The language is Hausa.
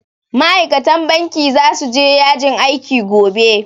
Ma'aikatan banki zasu je yajin aiki gobe